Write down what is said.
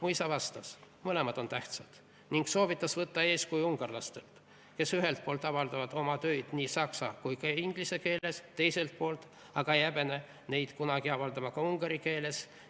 " Mu isa vastas, et mõlemad on tähtsad, ning soovitas võtta eeskuju ungarlastelt, kes ühelt poolt avaldavad oma töid nii saksa kui ka inglise keeles, teiselt poolt aga ei häbene kunagi avaldada ka ungari keeles.